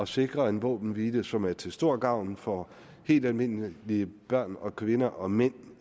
sikre en våbenhvile som er til stor gavn for helt almindelige børn og kvinder og mænd